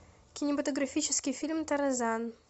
кинематографический фильм тарзан